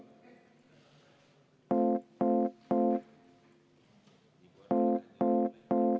Henn Põlluaas, palun!